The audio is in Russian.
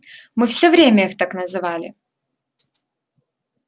мы всё время их так называли